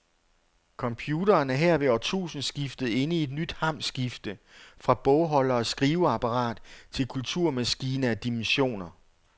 Computeren er her ved årtusindskiftet inde i et nyt hamskifte, fra bogholder og skriveapparat til kulturmaskine af dimensioner.